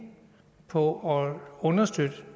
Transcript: på at understøtte